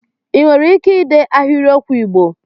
Ị nwere ike dee ahịrịokwu Igbo?